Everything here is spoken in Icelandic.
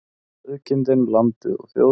Sauðkindin, landið og þjóðin.